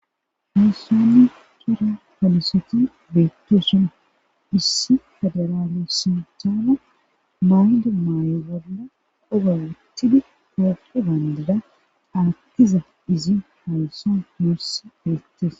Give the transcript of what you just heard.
halusanni tora falosoti beetto suna issi federaale sintaana mayde maayo bolla qoga wuttidi tooppo baandida aaqiza izi hawusa nussi deettes